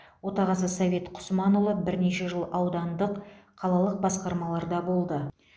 отағасы совет құсманұлы бірнеше жыл аудандық қалалық басқармаларда болды